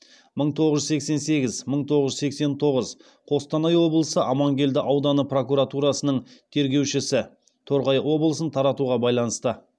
мың тоғыз жүз сексен сегіз мың тоғыз жүз сексен тоғыз қостанай облысы амангелді ауданы прокуратурасының тергеушісі